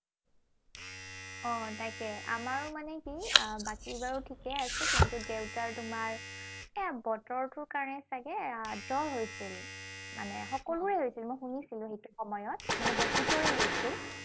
অ, তাকে। আমাৰো মানে কি আহ বাকী বাৰু ঠিকেই আছে। কিন্তু দেউতাৰ তোমাৰ সেই বতৰটোৰ কাৰণে চাগে আহ জ্বৰ হৈছিল। মানে সকলোৰে হৈছিল, মই শুনিছিলো সেইটো সময়ত। মানে বহুতৰে হৈছিল।